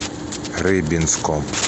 рыбинском